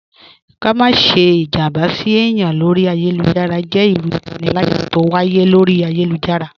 Ká má sẹ́ ìjàmbá sí èyàn lọ́rí ayélujára jẹ́ ìrù ìpánìlàyà t'ọ wáyé lọ́rí ayélujára.